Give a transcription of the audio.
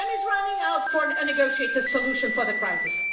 Time is running out for a negotiated solution to the crisis.